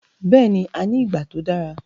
Bẹ́ẹ̀ni, a ní ìgbà tó dára